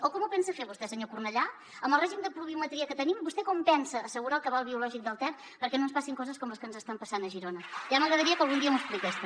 o com ho pensa fer vostè senyor cornellà amb el règim de pluviometria que tenim vostè com pensa assegurar el cabal biològic del ter perquè no ens passin coses com les que ens estan passant a girona ja m’agradaria que algun dia m’ho expliqués també